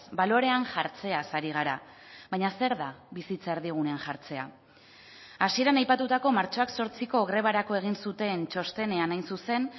balorean jartzeaz ari gara baina zer da bizitza erdigunean jartzea hasieran aipatutako martxoak zortziko grebarako egin zuten txostenean hain zuzen